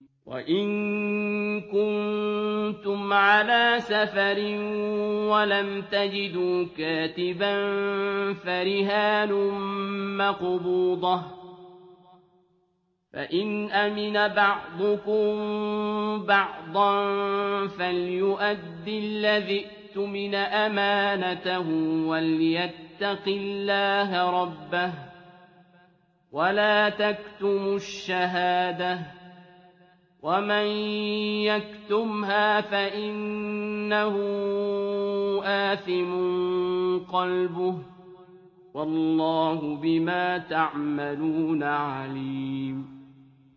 ۞ وَإِن كُنتُمْ عَلَىٰ سَفَرٍ وَلَمْ تَجِدُوا كَاتِبًا فَرِهَانٌ مَّقْبُوضَةٌ ۖ فَإِنْ أَمِنَ بَعْضُكُم بَعْضًا فَلْيُؤَدِّ الَّذِي اؤْتُمِنَ أَمَانَتَهُ وَلْيَتَّقِ اللَّهَ رَبَّهُ ۗ وَلَا تَكْتُمُوا الشَّهَادَةَ ۚ وَمَن يَكْتُمْهَا فَإِنَّهُ آثِمٌ قَلْبُهُ ۗ وَاللَّهُ بِمَا تَعْمَلُونَ عَلِيمٌ